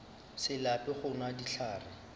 se lape go nwa dihlare